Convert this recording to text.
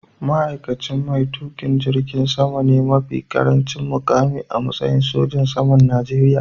Ma’aikaci mai tuƙin jirgin sama ne mafi ƙarancin muƙami a matsayi sojan saman Najeriya.